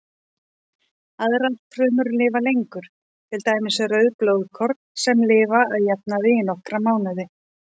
Aðrar frumur lifa lengur, til dæmis rauð blóðkorn sem lifa að jafnaði í nokkra mánuði.